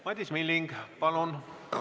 Madis Milling, palun!